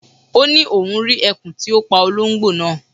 Ó ni oun ri ẹkùn ti o pa ológbò naa